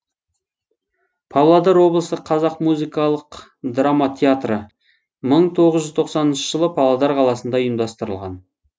павлодар облысы қазақ музыкалық драма театры мың тоғыз жүз тоқсаныншы жылы павлодар қаласында ұйымдастырылған